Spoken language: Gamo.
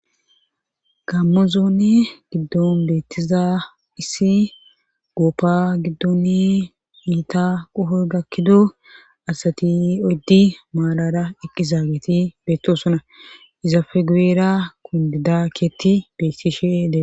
gammozoone giddon beettiza issi gooppa giddoni miita qoho gakkido asati oddi maalara eqqi zaageti beetto sona iza fe gueera kun didakkeetti beettishe dee